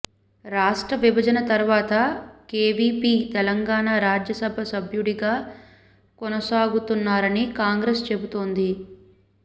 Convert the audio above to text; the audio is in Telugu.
రాష్ట్ర విభజన తర్వాత కేవీపీ తెలంగాణ రాజ్యసభ సభ్యుడిగా కొనసాగుతున్నారని కాంగ్రెస్ చెబుతోంది